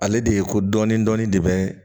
Ale de ye ko dɔɔnin dɔɔnin de bɛ